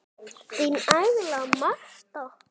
Þín Agla Marta.